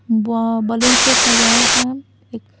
व बलून से सजाया हुआ है एक--